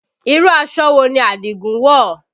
Irú aṣọ wo ni Adigun wọ̀?